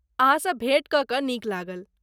अहाँसँ भेंट कऽ कऽ नीक लागल।